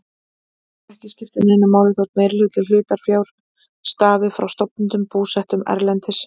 Ekki skiptir neinu máli þótt meirihluti hlutafjár stafi frá stofnendum búsettum erlendis.